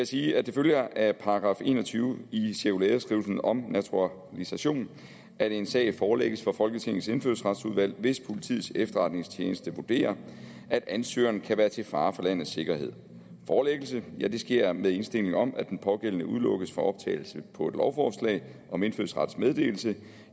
sige at det følger af § en og tyve i cirkulæreskrivelsen om naturalisation at en sag forelægges for folketingets indfødsretsudvalg hvis politiets efterretningstjeneste vurderer at ansøgeren kan være til fare for landets sikkerhed forelæggelse sker med indstilling om at den pågældende udelukkes fra optagelse på et lovforslag om indfødsrets meddelelse